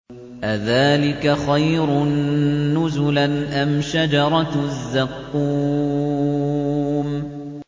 أَذَٰلِكَ خَيْرٌ نُّزُلًا أَمْ شَجَرَةُ الزَّقُّومِ